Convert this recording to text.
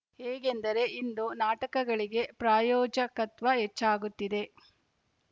ಹೇಗೆಂದರೆ ಇಂದು ನಾಟಕಗಳಿಗೆ ಪ್ರಾಯೋಜಕತ್ವ ಹೆಚ್ಚಾಗುತ್ತಿದೆ